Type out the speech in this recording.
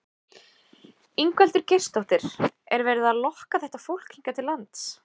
Ingveldur Geirsdóttir: Er verið að lokka þetta fólk hingað til lands?